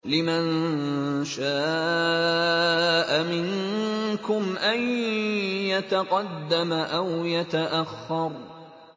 لِمَن شَاءَ مِنكُمْ أَن يَتَقَدَّمَ أَوْ يَتَأَخَّرَ